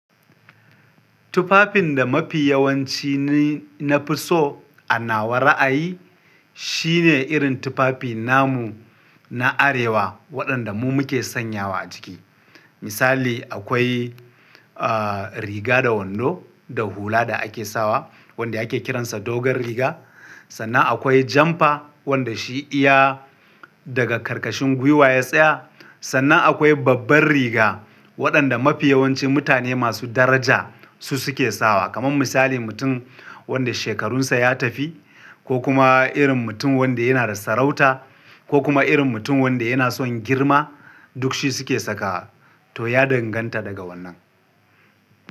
Tufafin da mafi yawanci ne na fi so a nawa ra'ayi shine irin tufafi namu na arewa waɗanda mu muke sanyawa a jiki. Misali akwai, ah, riga da wando da hula da ake sawa wanda ake kiransa dogon riga. Sannan akwai jampa wanda shi iya daga karkashin gwiwa ya tsaya. Sannan akwai babbar riga waɗanda mafi yawancin mutane masu daraja su suke sawa. Kaman misali mutum wanda shekarunsa ya tafi ko kuma irin mutum wanda yana da sarauta ko kuma irin mutum wanda yana son girma duk shi suke saka to ya danganta daga wannan.